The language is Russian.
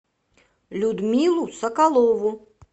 людмилу соколову